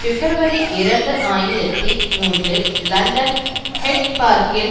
பிப்ரவரி இரண்டு ஆயிரத்தி மூன்றில் லண்டன் ஹைட் பார்க்கில்